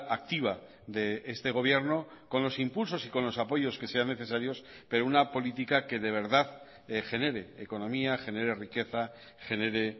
activa de este gobierno con los impulsos y con los apoyos que sean necesarios pero una política que de verdad genere economía genere riqueza genere